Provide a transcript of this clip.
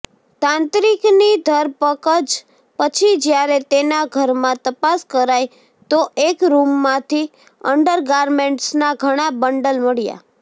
તાંત્રિકની ધરપકજ પછી જ્યારે તેના ઘરમાં તપાસ કરાઈ તો એક રૂમમાંથી અંડરગારમેન્ટ્સના ઘણા બંડલ મળ્યાં